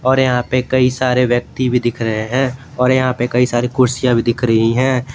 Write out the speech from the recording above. और यहां पे कई सारे व्यक्ति भी दिख रहे हैं और यहां पर कई सारे कुर्सियां भी दिख रही हैं।